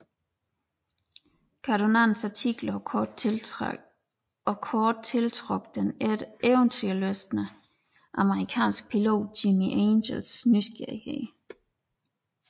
Cardonas artikler og kort tiltrak den eventyrlystne amerikanske pilot Jimmie Angels nysgerrighed